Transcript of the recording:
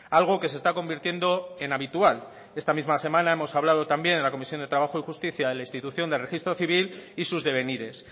algo que se está convirtiendo en habitual esta misma semana hemos hablado también en la comisión de trabajo y justicia de la institución de registro civil y sus devenires